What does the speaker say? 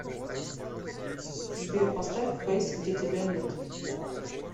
сбер поставь фэйс где тебя нет